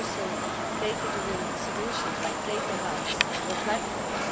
and also data-driven solutions like data hubs or platforms.